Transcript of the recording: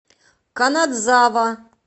канадзава